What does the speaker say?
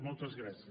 moltes gràcies